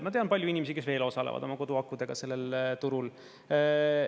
Ma tean palju inimesi, kes veel osalevad oma koduakudega sellel turul.